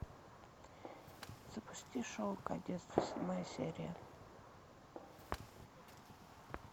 запусти шоу кадетство седьмая серия